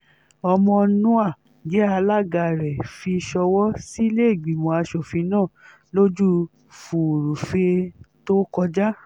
ọmọnúà jẹ́ alága rẹ̀ fi ṣọwọ́ sílẹ̀ẹ́gbìmọ̀ asòfin náà lọ́jọ́ furuufée tó kọjá